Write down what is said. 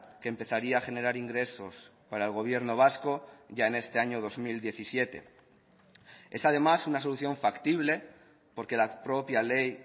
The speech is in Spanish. que empezaría a generar ingresos para el gobierno vasco ya en este año dos mil diecisiete es además una solución factible porque la propia ley